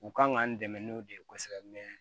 U kan ka n dɛmɛ n'o de ye kosɛbɛ